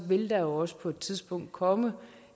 vil der også på et tidspunkt komme